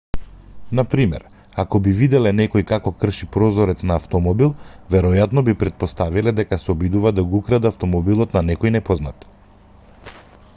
на пример ако би виделе некој како крши прозорец на автомобил веројатно би претпоставиле дека се обидува да го украде автомобилот на некој непознат